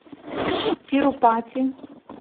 тирупати